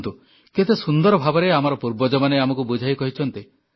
ଦେଖନ୍ତୁ କେତେ ସୁନ୍ଦର ଭାବରେ ଆମର ପୂର୍ବଜମାନେ ଆମକୁ ବୁଝାଇ କହିଛନ୍ତି